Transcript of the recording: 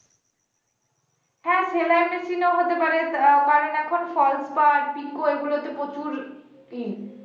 হ্যাঁ সেলাই machine ও হতে পারে আহ কারণ এখন falls পাড় pico এগুলো তে প্রচুরই